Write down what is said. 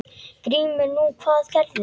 GRÍMUR: Nú, hvað gerðu þeir?